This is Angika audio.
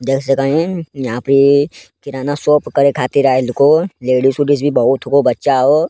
देख सकइन यहाँ पे किराना शॉप करे खातिर आइल को लेडीज उडीज भी बहुत हो को बच्चा हो।